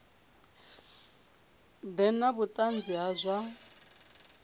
ḓe na vhuṱanzi ha zwa